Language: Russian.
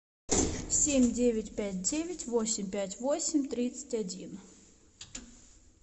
семь девять пять девять восемь пять восемь тридцать один